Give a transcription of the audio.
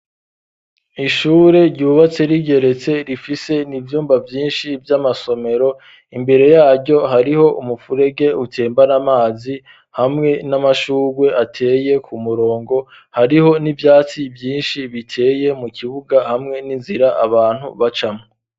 Ishure ryubatse rigeretse rifise n'ivyumba vyinshi hi vy'amasomero imbere yaho hariho umufurege utembana amazi hamwe n'amashugwe ateye ku murongo hariho n'ivyatsi vyinshi biteye mukibuga hamwe n'inzira abantu bacamwo.